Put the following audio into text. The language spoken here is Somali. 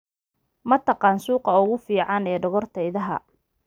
ma taqaan suuqa ugu fiican ee dhogorta idaha